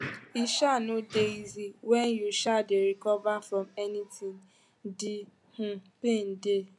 e um no dey easy wen you um dey recover from anything de um pain dey